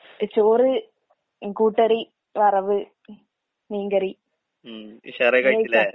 A ചോറ്, കൂട്ടുകറി, വറവ്, മീൻകറി. നീ കഴിച്ചാ?